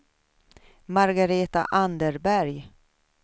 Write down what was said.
Margaretha Anderberg